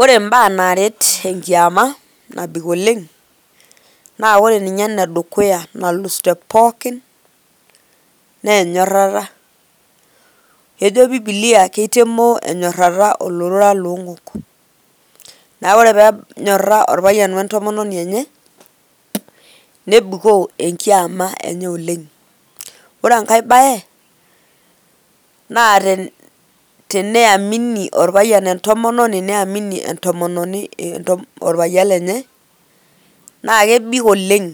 Ore mbaa naaret enkiama nabik oleng' naa ore ninye enedukuya nalus te pookin naa enyorrata, kejo Biblia keitemoo enyorrata olorora loong'ok, neeku ore pee enyorra orpayian o entomononi enye nebikoo enkiama enye oleng'. Ore enake baye naa teneamini orpayian entomononi niamini entomononi orpayian lenye naa kebik oleng'